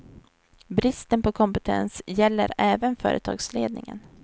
Bristen på kompetens gäller även företagslednimgen.